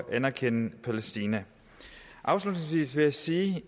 anerkende palæstina afslutningsvis vil jeg sige